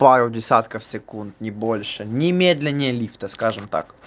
пару десятков секунд не больше ни медленнее лифта скажем так